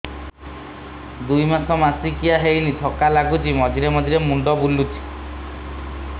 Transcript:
ଦୁଇ ମାସ ମାସିକିଆ ହେଇନି ଥକା ଲାଗୁଚି ମଝିରେ ମଝିରେ ମୁଣ୍ଡ ବୁଲୁଛି